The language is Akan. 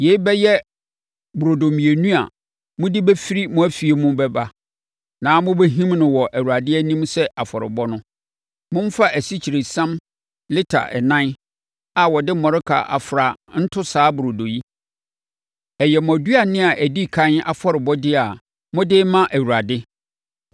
Yei bɛyɛ burodo mmienu a mode bɛfiri mo afie mu bɛba. Na wɔbɛhim no wɔ Awurade anim sɛ afɔrebɔ no. Momfa asikyiresiam lita ɛnan a wɔde mmɔreka afra nto saa burodo yi. Ɛyɛ mo aduane a ɛdi ɛkan afɔrebɔdeɛ a mode rema Awurade.